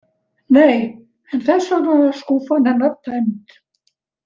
Nei, en þess vegna var skúffan hennar tæmd.